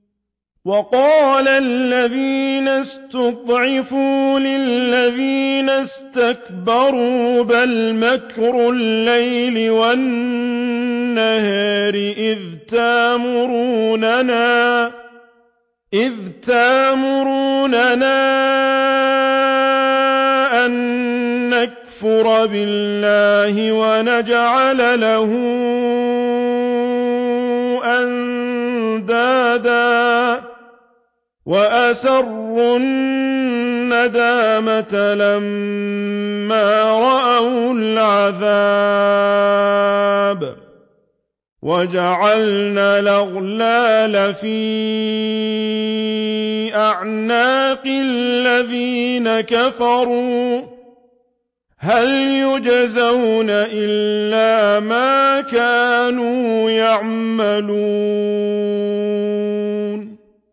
وَقَالَ الَّذِينَ اسْتُضْعِفُوا لِلَّذِينَ اسْتَكْبَرُوا بَلْ مَكْرُ اللَّيْلِ وَالنَّهَارِ إِذْ تَأْمُرُونَنَا أَن نَّكْفُرَ بِاللَّهِ وَنَجْعَلَ لَهُ أَندَادًا ۚ وَأَسَرُّوا النَّدَامَةَ لَمَّا رَأَوُا الْعَذَابَ وَجَعَلْنَا الْأَغْلَالَ فِي أَعْنَاقِ الَّذِينَ كَفَرُوا ۚ هَلْ يُجْزَوْنَ إِلَّا مَا كَانُوا يَعْمَلُونَ